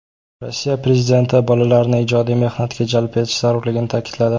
Rossiya prezidenti bolalarni ijodiy mehnatga jalb etish zarurligini ta’kidladi.